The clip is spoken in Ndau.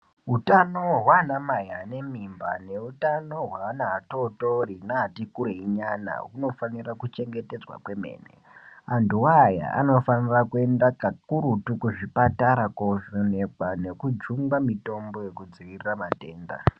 Utano hwanamai ane mimba neutano hweana atotori neatikureyi nyana hunofanira kuchengetedzwa yampo. Antuwo aya anofanira kuenda kakurutu kuzvipatara kovhenekwa nekujungwa mitombo yekudzivirira matenda.